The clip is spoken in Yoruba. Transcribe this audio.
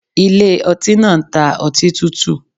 Ilé ọtí náà ń ta ọtí tútù.